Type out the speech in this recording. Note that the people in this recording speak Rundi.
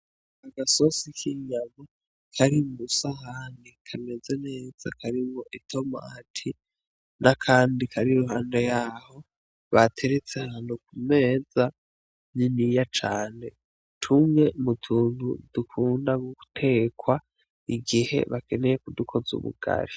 Agasosi k'inyama kari kwi sahani kameze neza karimwo itomati n'akandi kari iruhande yaho bateretse ahantu ku meza niniya cane, tumwe mu tuntu dukunda gutekwa igihe bakeneye kudukoza ubugari.